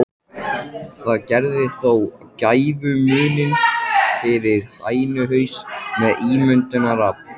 Það gerði þó gæfumuninn fyrir hænuhaus með ímyndunarafl.